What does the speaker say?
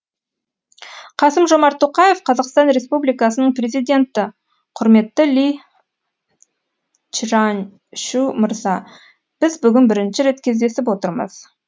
қасым жомарт тоқаев қазақстан республикасының президенті құрметті ли чжаньшу мырза біз бүгін бірінші рет кездесіп отырмыз